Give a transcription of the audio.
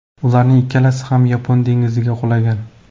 Ularning ikkalasi ham Yapon dengiziga qulagan.